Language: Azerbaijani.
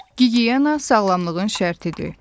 Gigiyena sağlamlığın şərtidir.